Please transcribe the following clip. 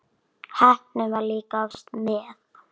Heppnin var líka oftast með.